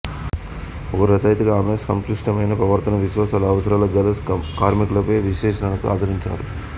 ఒక రచయితగా ఆమె సంక్లిష్టమైన ప్రవర్తన విశ్వాసాలు అవసరాలు గల కార్మికులపై విశ్లేషణలను అందించారు